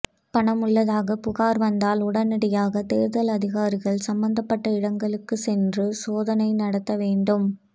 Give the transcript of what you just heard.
பணம் உள்ளதாக புகார் வந்தால் உடனடியாக தேர்தல் அதிகாரிகள் சம்பந்தப்பட்ட இடங்களுக்கு சென்று சோதனை நடத்த வேண்டும்